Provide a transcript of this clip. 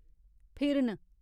फिरन